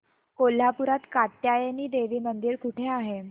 कोल्हापूरात कात्यायनी देवी मंदिर कुठे आहे